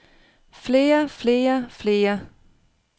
flere flere flere